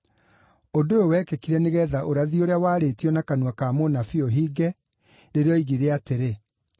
Ũndũ ũyũ wekĩkire nĩgeetha ũrathi ũrĩa waarĩtio na kanua ka mũnabii ũhinge, rĩrĩa oigire atĩrĩ: